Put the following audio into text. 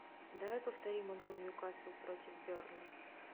давай повторим игру ньюкасл против бернли